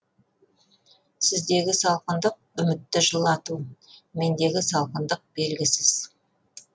сіздегі салқындық үмітті жылату мендегі салқындық белгісіз